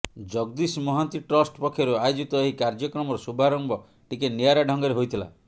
Jagdish Mohanty trust ପକ୍ଷରୁ ଆୟୋଜିତ ଏହି କାର୍ଯ୍ୟକ୍ରମର ଶୁଭାରମ୍ଭ ଟିକେ ନିଆରା ଢଙ୍ଗରେ ହୋଇଥିଲା